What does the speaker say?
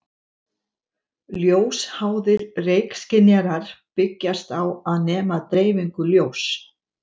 Ljósháðir reykskynjarar byggjast á að nema dreifingu ljóss.